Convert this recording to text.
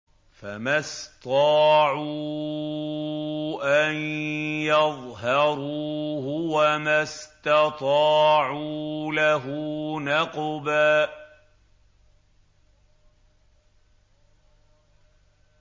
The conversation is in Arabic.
فَمَا اسْطَاعُوا أَن يَظْهَرُوهُ وَمَا اسْتَطَاعُوا لَهُ نَقْبًا